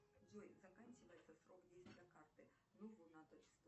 джой заканчивается срок действия карты